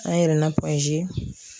An yɛlɛna